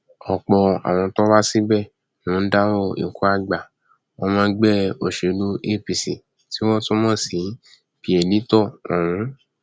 ọpọ àwọn tó wá síbẹ ló dárò ikú àgbà ọmọ ẹgbẹ òṣèlú apc tí wọn tún mọ sí pearlito ọhún